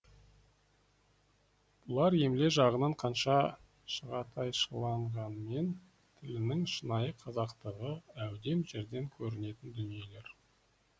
бұлар емле жағынан қанша шағатайшыланғанмен тілінің шынайы қазақтығы әудем жерден көрінетін дүниелер